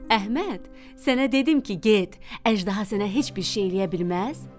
Əhməd, sənə dedim ki, get, əjdaha sənə heç bir şey eləyə bilməz?